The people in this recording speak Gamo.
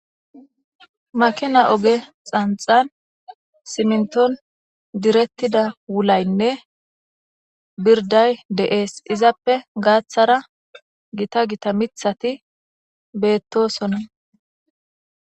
makina oge xanxan siminton direttida wulaynne birday deees izappe gaaththara gita gita mithati beettosona